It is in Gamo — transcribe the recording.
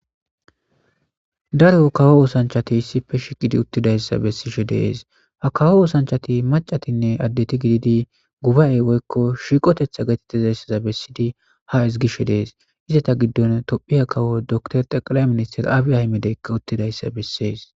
daro kawo oosanchati isipe shiqidi uttidayssa bessishe dees ha kawo oosanchati macatinne addeti gididi guba7ey goykko shiiqotetha getette zayssaza bessidi ha isgishe dees izata giddon tophiya kawo door taqala minister aabiya himedeykka uttidayssa bessees